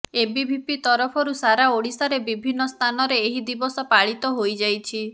ABVP ତରଫରୁ ସାରା ଓଡ଼ିଶାରେ ବିଭିନ୍ନ ସ୍ଥାନରେ ଏହି ଦିବସ ପାଳିତ ହୋଇଯାଇଛି